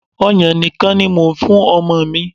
Ọyàn nìkan ni mò ń fún ọmọ mi.